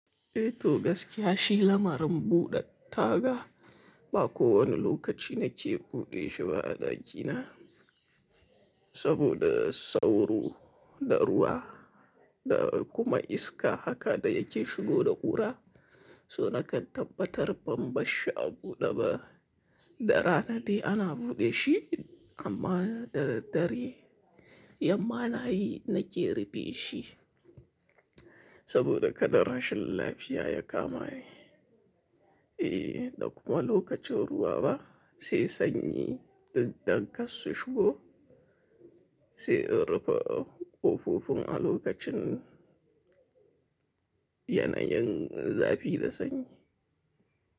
Eh toh, gaskiya shi lamarin buɗe taga, ba ko wani lokaci na ke buɗe shi ba a ɗaki na. Saboda sauro da ruwa da kuma iska haka da yake shigo da ƙura. So nakan tabbatar ban barshi a buɗe ba. Da rana dai ana buɗe shi amma da daddare yamma nayi na ke rufe shi. Saboda kada rashin lafiya ya kama ni. Eh da kuma lokacin ruwa ba, sai sanyi duk don karsu shigo sai in rufe ƙofofin a lokacin yanayin zafi da sanyi.